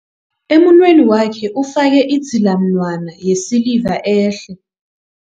Emunweni wakhe ufake idzilamunwana yesiliva ehle.